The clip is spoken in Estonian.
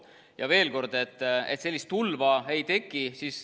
Ja veel kord – sellist tulva ei teki.